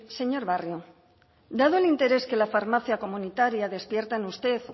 señor barrio dado el interés que la farmacia comunitaria despierta en usted